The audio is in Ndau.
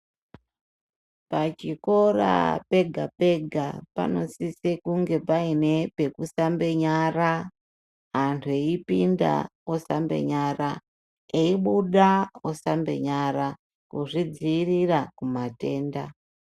Pachikora pega-pega, panosise kunge paine pekusambe nyara, antu eipinda osambe, nyara, eibuda osambe nyara, kuzvidziirira kumatenda.